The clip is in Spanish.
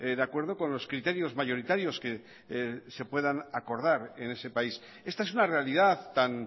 de acuerdo con los criterios mayoritarios que se puedan acordar en ese país esta es una realidad tan